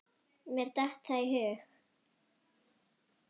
Mér datt það í hug!